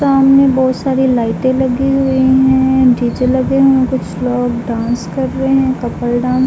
सामने बहुत सारी लाइटें लगी हुई हैं। डी.जे. लगे हुए। कुछ लोग डांस कर रहे हैं। कपल डान --